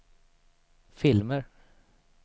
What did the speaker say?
filmer